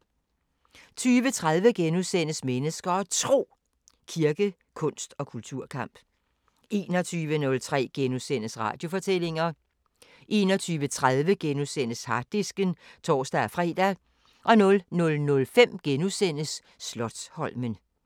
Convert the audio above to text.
20:30: Mennesker og Tro: Kirke, kunst og kulturkamp * 21:03: Radiofortællinger * 21:30: Harddisken *(tor-fre) 00:05: Slotsholmen *